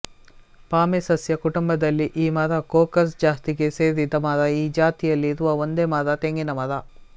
ಪಾಮೇಸಸ್ಯ ಕುಟುಂಬದಲ್ಲಿ ಈ ಮರ ಕೊಕಸ್ ಜಾತಿಗೆ ಸೇರಿದ ಮರ ಈ ಜಾತಿಯಲ್ಲಿ ಇರುವ ಒಂದೇ ಮರ ತೆಂಗಿನಮರ